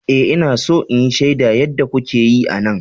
Ee, Ina so in shaida yadda kuke yi a nan.